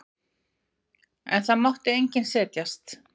En það mátti enginn setjast.